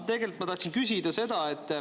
Tegelikult ma tahtsin küsida seda.